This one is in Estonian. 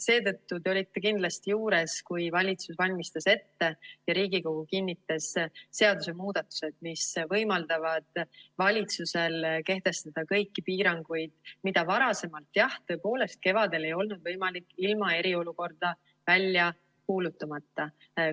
Seetõttu te olite kindlasti juures, kui valitsus valmistas ette ja Riigikogu kinnitas seadusemuudatused, mis võimaldavad valitsusel kehtestada kõiki piiranguid, mida varasemalt, jah tõepoolest, kevadel ei olnud võimalik ilma eriolukorda välja kuulutamata teha.